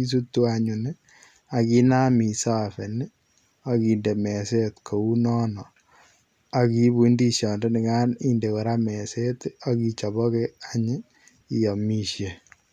isutuu anyuun ii, aginaam isafeen ii agindei mezeet kounono akiibuu ndiziat nikaan inde koraa mezeet ii agichabagei aany iamishe.